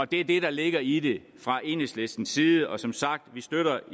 det er det der ligger i det fra enhedslistens side som sagt støtter